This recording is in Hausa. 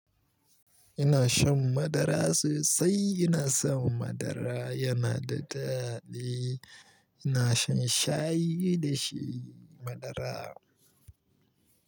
Ina shan madara sosai, ina son madara yana da daɗi. Ina shan shayi da shi madara.